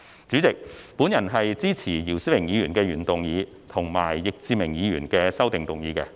主席，我支持姚思榮議員的原議案，以及易志明議員的修正案。